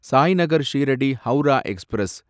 Sainagar Shirdi Howrah express